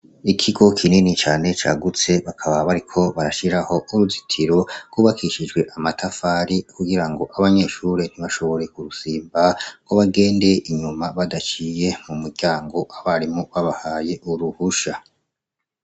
Ikigo kinini cyane cagutse, bakaba bariko barashyiraho uruzitiro rwubakishijwe amatafari ,kugirango abanyeshuri ntibashobore kurusimba ko bagende inyuma badaciye mu muryango abarimo babahaye uruhusha.